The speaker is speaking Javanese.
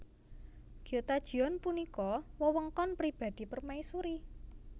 Gyotajeon punika wewengkon pribadi permaisuri